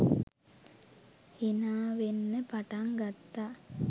හිනාවෙන්න පටන් ගත්තා